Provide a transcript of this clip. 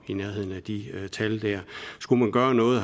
i nærheden af de tal skulle man gøre noget